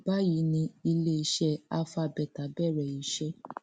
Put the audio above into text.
báyìí ni iléeṣẹ alpha beta bẹrẹ iṣẹ